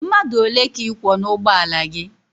Mmadụ ole ka ị kwọ n'ugbọala gị?